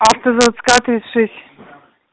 автозаводская тридцать шесть